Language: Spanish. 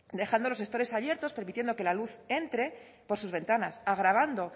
dejando los estores abiertos permitiendo que la luz entre por sus ventanas agravando